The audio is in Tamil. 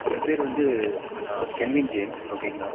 என் பெயர் வந்து ஆஹ் கெல்வின் ஜேம்ஸ் okay ங்களா?